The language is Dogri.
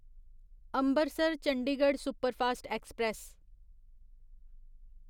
Ambarsar Chandigarh superfast express